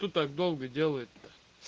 тут так долго делает то